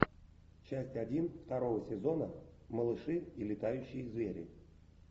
часть один второго сезона малыши и летающие звери